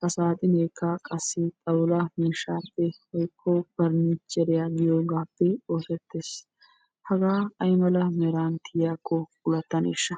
Ha saaxineekka qassi xawullaa miishshaappe woykko pernicheriyaa giyoogappe oosettees. hagaa ay meran tiyiyaakko puullataneeshsha!